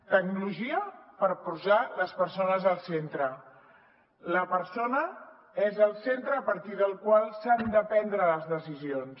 tecnologia per posar les persones al centre la persona és el centre a partir del qual s’han de prendre les decisions